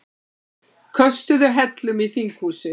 Köstuðu hellum í þinghúsið